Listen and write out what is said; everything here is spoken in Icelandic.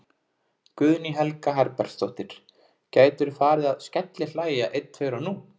Guðný Helga Herbertsdóttir: Gætirðu farið að skellihlæja einn tveir og nú?